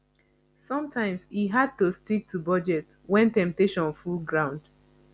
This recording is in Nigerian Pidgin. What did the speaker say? somtimes e hard to stick to budget wen temptation full ground